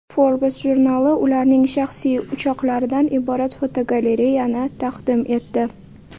Forbes jurnali ularning shaxsiy uchoqlaridan iborat fotogalereyani taqdim etdi .